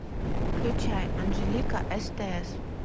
включай анжелика стс